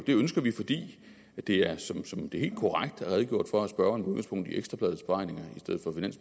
ønsker vi fordi det som det helt korrekt er redegjort for af spørgeren med udgangspunkt i ekstra bladets beregninger